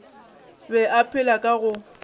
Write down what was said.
be a phela ka go